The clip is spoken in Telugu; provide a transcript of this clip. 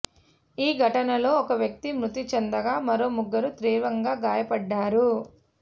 ఈ ఘటనలో ఒక వ్యక్తి మృతి చెందగా మరో ముగ్గురు తీవ్రంగా గాయపడ్డారు